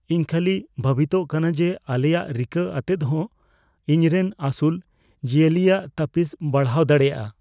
ᱤᱧ ᱠᱷᱟᱹᱞᱤ ᱵᱷᱟᱹᱵᱤᱛᱚᱜ ᱠᱟᱱᱟ ᱡᱮ ᱟᱞᱮᱭᱟᱜ ᱨᱤᱠᱟᱹ ᱟᱛᱮᱫᱦᱚᱸ, ᱤᱧᱨᱮᱱ ᱟᱹᱥᱩᱞ ᱡᱤᱭᱟᱹᱞᱤᱭᱟᱜ ᱛᱟᱹᱯᱤᱥ ᱵᱟᱲᱦᱟᱣ ᱫᱟᱲᱮᱭᱟᱜᱼᱟ ᱾